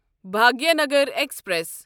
Bhagyanagar express